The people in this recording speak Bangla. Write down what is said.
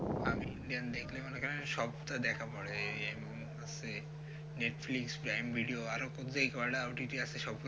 আমি indian দেখলে মনে করেন সবটা দেখা পরে এই হচ্ছে netflix prime video আরও যেকটা OTT সব গুলো